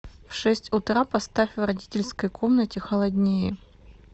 в шесть утра поставь в родительской комнате холоднее